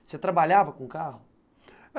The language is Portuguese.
Você trabalhava com carro?